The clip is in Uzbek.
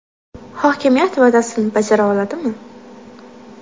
Hokimiyat va’dasini bajara oladimi?..